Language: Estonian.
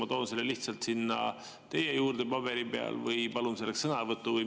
Kas ma toon selle lihtsalt sinna teie juurde paberi peal või palun selleks sõnavõttu?